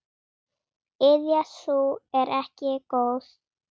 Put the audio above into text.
Iðja sú er ekki góð.